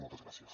moltes gràcies